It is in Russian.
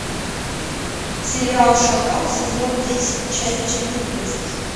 сериал шакал сезон десять часть четырнадцать